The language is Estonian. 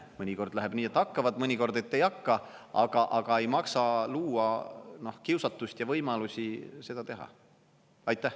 Mõnikord läheb nii, et hakkavad, mõnikord, et ei hakka, aga ei maksa luua kiusatust ja võimalusi seda teha.